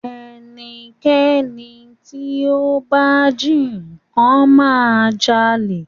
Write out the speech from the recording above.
Ẹnikẹ́ni tí ó bá jí nnkan ma jalè